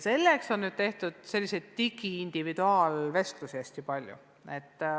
Selleks on tehtud hästi palju digitaalseid individuaalvestlusi.